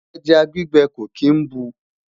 ẹja gbígbẹ kò kín bù